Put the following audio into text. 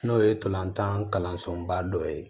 N'o ye tolantan kalansoba dɔ ye